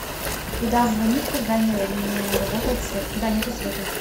куда звонить когда не работает свет когда нету света